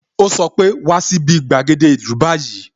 O sọ pe "wá sí bi gbàgede ìlú báyìí"